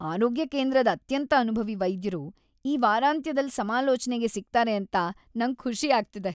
ಆರೋಗ್ಯ ಕೇಂದ್ರದ್ ಅತ್ಯಂತ ಅನುಭವಿ ವೈದ್ಯರು ಈ ವಾರಾಂತ್ಯದಲ್ ಸಮಾಲೋಚನೆಗೆ ಸಿಗ್ತಾರೆ ಅಂತ ನಂಗ್ ಸಂತೋಷ ಆಗ್ತಿದೆ.